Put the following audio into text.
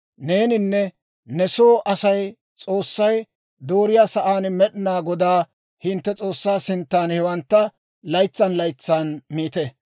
Neeninne ne soo Asay S'oossay dooriyaa sa'aan Med'inaa Godaa hintte S'oossaa sintsan hewantta laytsan laytsan miite.